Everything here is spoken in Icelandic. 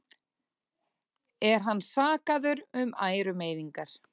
Er hann sakaður um ærumeiðingar